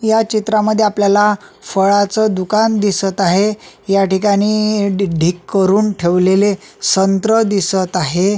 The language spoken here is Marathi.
या चित्रामध्ये आपल्याला फळांच दुकान दिसत आहे याठिकाणी ढी ढीग करून ठेवलेले संत्र दिसत आहे.